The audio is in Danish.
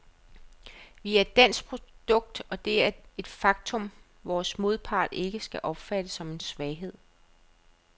Vi er et dansk produkt, og det er et faktum, vores modpart ikke skal opfatte som en svaghed.